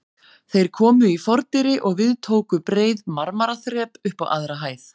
Þeir komu í fordyri og við tóku breið marmaraþrep upp á aðra hæð.